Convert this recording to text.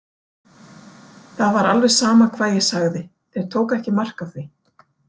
Það var alveg sama hvað ég sagði, þeir tóku ekki mark á því.